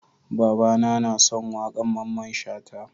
Baba na son waƙan Mamman Shata